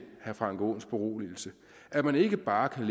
herre frank aaens beroligelse at man ikke bare kan